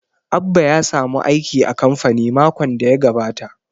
Abba ya samu aiki a kamfani makon da ya gabata